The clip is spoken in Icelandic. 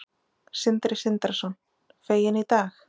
Sindri Sindrason: Fegin í dag?